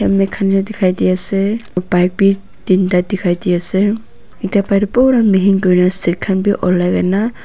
ami khan ke dikai di ase aro pipe b tinda dikai di ase eta pura mihin kuri kena seat khan b ola kena.